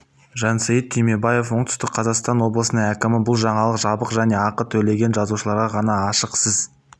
жансейіт түймебаев оңтүстік қазақстан облысының әкімі бұл жаңалық жабық және ақы төлеген жазылушыларға ғана ашық сіз